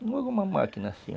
uma máquina assim.